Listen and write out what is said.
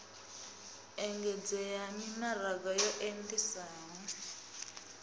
engedzea ha mimaraga yo andesaho